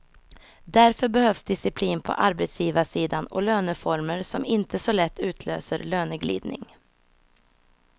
Därför behövs disciplin på arbetsgivarsidan och löneformer som inte så lätt utlöser löneglidning.